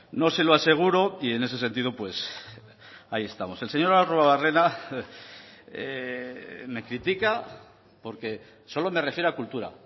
no se lo aseguro y en ese sentido pues ahí estamos el señor arruabarrena me critica porque solo me refiero a cultura